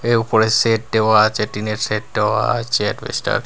এ উপরে শেড দেওয়া আচে টিন -এর শেড দেওয়া আচে অ্যাডবেস্টার --